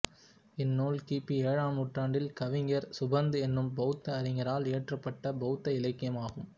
இந்நூல் கிபி ஏழாம் நூற்றாண்டில் கவிஞர் சுபந்து எனும் பௌத்த அறிஞரால் இயற்றப்பட்ட பௌத்த இலக்கியம் ஆகும்